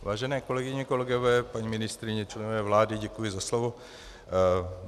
Vážené kolegyně, kolegové, paní ministryně, členové vlády, děkuji za slovo.